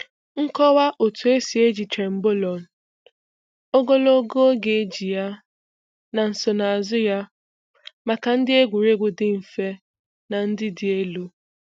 Nkọwa otú esi eji Trenbolone, ogologo oge eji ya, na nsonaazu ya maka ndị egwuregwu dị mfe na ndị dị elu.